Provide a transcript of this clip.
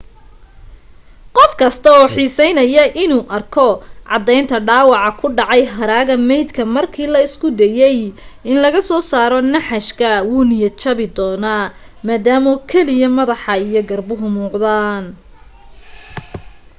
qof kasta oo xiiseynaya inuu arko caddaynta dhaawaca ku dhacay haraaga maydka markii la isku dayay in laga soo saaro naxashka wuu niyad jabi doonaa maadaama keliya madaxa iyo garbuhu muuqdaan